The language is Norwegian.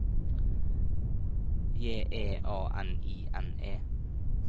J E A N I N E